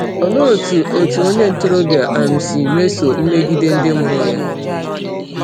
Olee otú otu onye ntorobịa um si mesoo mmegide ndị mụrụ ya?